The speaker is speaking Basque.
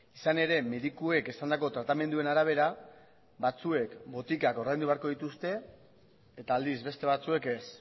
izan ere medikuek esandako tratamenduen arabera batzuek botikak ordaindu beharko dituzte eta aldiz beste batzuek ez